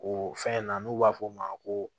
O fɛn in na n'u b'a f'o ma ko